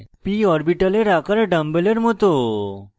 p orbitals আকার ডাম্বেলের মত